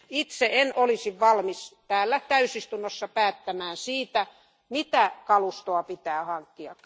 Itse en olisi valmis täällä täysistunnossa päättämään siitä, mitä kalustoa pitää hankkia.